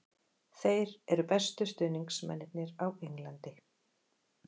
Þeir eru bestu stuðningsmennirnir á Englandi.